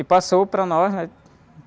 E passou para nós, né?